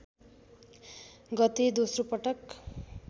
गते दोस्रो पटक